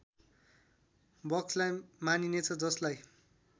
बक्सलाई मानिनेछ जसलाई